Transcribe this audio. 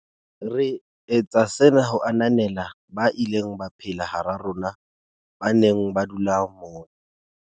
"Re etsa sena ho ananela ba ileng ba phela hara rona, ba neng ba dula mona."